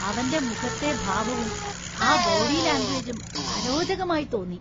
അവന്റെ മുഖത്തെ ഭാവവും ആ ബോഡി ലാംഗ്വേജും അരോചകമായി തോന്നി.